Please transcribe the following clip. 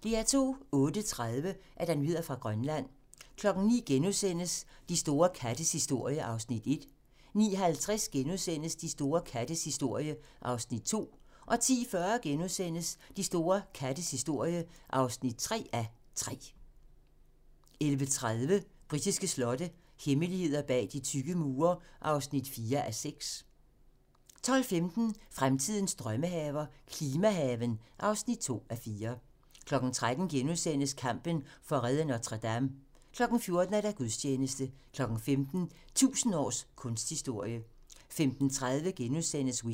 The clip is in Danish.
08:30: Nyheder fra Grønland 09:00: De store kattes historie (1:3)* 09:50: De store kattes historie (2:3)* 10:40: De store kattes historie (3:3)* 11:30: Britiske slotte - hemmeligheder bag de tykke mure (4:6) 12:15: Fremtidens Drømmehaver – klimahaven (2:4) 13:00: Kampen for at redde Notre Dame * 14:00: Gudstjeneste 15:00: 1000 års kunsthistorie 15:30: Whitney *